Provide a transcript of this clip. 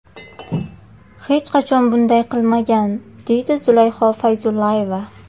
hech qachon bunday qilmagan, deydi Zulayho Fayzullayeva.